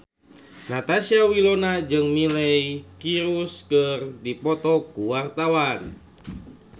Natasha Wilona jeung Miley Cyrus keur dipoto ku wartawan